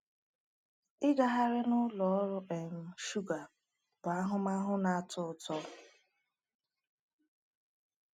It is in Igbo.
Ịgagharị n’ụlọ ọrụ um shuga bụ ahụmahụ na-atọ ụtọ.